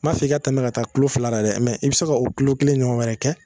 N maa fɔ i ka tɛmɛ ka taa kulo fila yɛrɛ la dɛ i bɛ se ka o kulo kelen ɲɔgɔn wɛrɛ kɛ